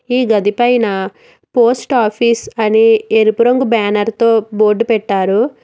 ఈ గది పైన పోస్ట్ ఆఫీస్ అని ఎరుపు రంగు బ్యానర్ తో బోర్డు పెట్టారు.